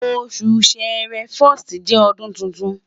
osu Ṣẹrẹ 1st jẹ ọdun titun